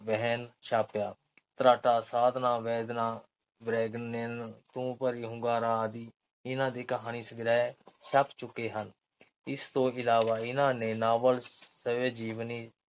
ਸਾਧਨਾ, ਵੈਦਨਾ ਤੂੰ ਭਰੀਂ ਹੁੰਗਾਰਾ ਆਦਿ, ਇਨ੍ਹਾਂ ਦੇ ਕਹਾਣੀ ਸੰਗ੍ਰਹਿ ਛਪ ਚੁੱਕੇ ਹਨ। ਇਸ ਤੋਂ ਇਲਾਵਾ ਇਨ੍ਹਾਂ ਨੇ ਨਾਵਲ, ਸਵੈ-ਜੀਵਨੀ